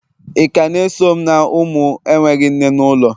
Ị ka na-eso m na ụmụ na-enweghị nne n'ụlọ?